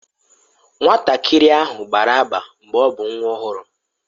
Nwatakịrị ahụ gbara agba mgbe ọ bụ nwa ọhụrụ.